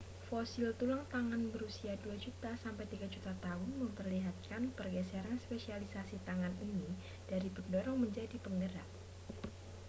fosil tulang tangan berusia 2 juta sampai 3 juta tahun memperlihatkan pergeseran spesialisasi tangan ini dari pendorong menjadi penggerak